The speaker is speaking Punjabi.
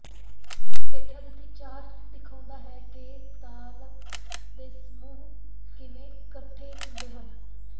ਹੇਠਾਂ ਦਿੱਤੀ ਚਾਰਟ ਦਿਖਾਉਂਦਾ ਹੈ ਕਿ ਤਾਲਬੱਪ ਦੇ ਸਮੂਹ ਕਿਵੇਂ ਇੱਕਠੇ ਹੁੰਦੇ ਹਨ